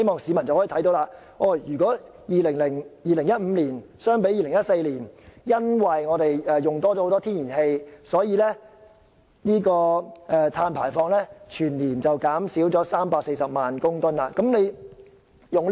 市民應該留意到，由2014年至2015年間，由於我們耗用較多天然氣，全年碳排放量因而減少340萬公噸。